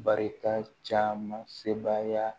Barita caman se baaya